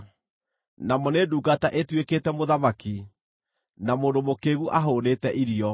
namo nĩ ndungata ĩtuĩkĩte mũthamaki, na mũndũ mũkĩĩgu ahũũnĩte irio,